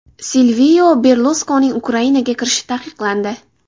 Silvio Berluskonining Ukrainaga kirishi taqiqlandi.